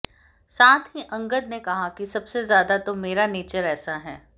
साथ ही अंगद ने कहा कि सबसे ज्यादा तो मेरा नेचर ऐसा है